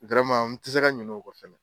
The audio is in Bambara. n tɛ se ka ɲinɛn o kɔ fɛnɛ.